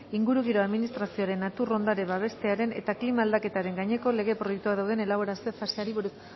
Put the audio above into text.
ingurugiro administrazioaren natur ondarea babestearen eta klima aldaketaren gaineko lege proiektuak dauden elaborazio faseari buruz